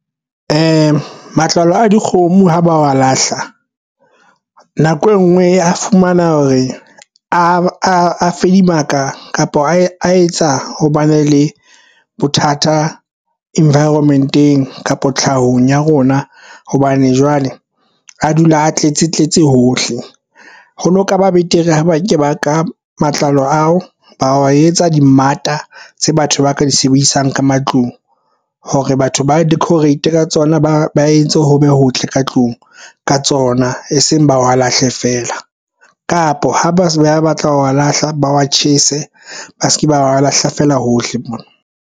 Matlalo a dikgomo ha ba wa lahla nako e nngwe a fumana hore a fedimaka, kapa a etsa ho ba na le bothata environment-eng kapo tlhahong ya rona. Hobane jwale a dula a tletse tletse hohle ho no kaba betere ha ba ke ba ka matlalo ao, ba wa etsa dimmata tse batho ba ka di sebedisang ka matlung hore batho ba decorate ka tsona ba entse ho be hotle ka tlung ka tsona e seng ba wa lahle fela kapa ha ba se ba batla wa lahla ba wa tjhese ba se ke ba lahla feela hohle mona.